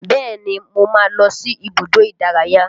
Bẹ́ẹ̀ni mo máa ń lọ sí ibùdó ìdárayá